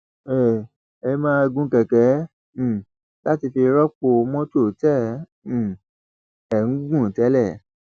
ẹ ẹ máa gun kẹkẹ um láti fi rọpò mọtò tẹ um ẹ ń gùn tẹlẹ